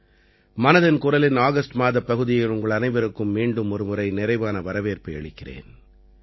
மனதின் குரலின் ஆகஸ்ட் மாதப் பகுதியில் உங்கள் அனைவருக்கும் மீண்டும் ஒருமுறை நிறைவான வரவேற்பை அளிக்கிறேன்